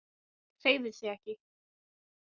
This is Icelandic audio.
Hreyfði sig ekki.